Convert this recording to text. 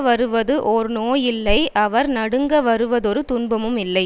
வருவது ஓர் நோய் இல்லை அவர் நடுங்க வருவதொரு துன்பமும் இல்லை